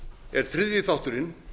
er þriðji þátturinn